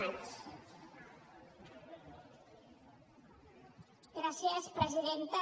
gràcies presidenta